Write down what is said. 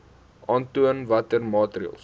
aantoon watter maatreëls